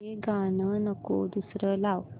हे गाणं नको दुसरं लाव